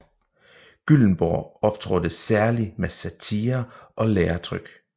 Gyllenborg optrådte særlig med satirer og læretryk